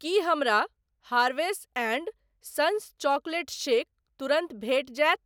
की हमरा Harvest and sons chocolate shake तुरन्त भेटि जायत?